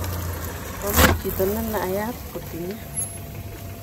Momi chito nenaiyat kotinye